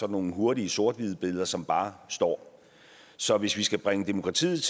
nogle hurtige sort hvide billeder som bare står så hvis vi skal bringe demokratiet